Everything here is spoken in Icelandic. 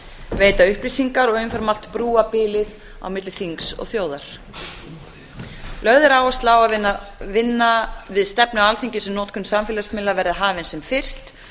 veita upplýsingar og umfram allt brúa bilið á milli þings og þjóðar lögð er áhersla á að vinna við stefnu alþingis um notkun samfélagsmiðla verði hafin sem fyrst